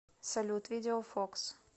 салют видео фокс